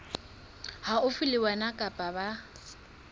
haufi le wena kapa ba